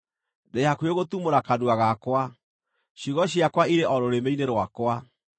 Ndĩ hakuhĩ gũtumũra kanua gakwa; ciugo ciakwa irĩ o rũrĩmĩ-inĩ rwakwa.